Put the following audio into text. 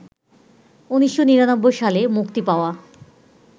১৯৯৯ সালে মুক্তি পাওয়া